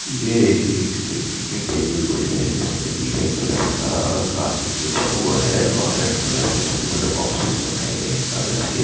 ये एक देखने टेबुल पड़ी है उसपे नीले कलर का कारपेट बिछा हुआ है और रेड कलर के छोटे-छोटे बॉक्सेस बनाये गए है|